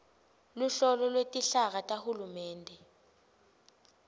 luhlolo lwetinhlaka tahulumende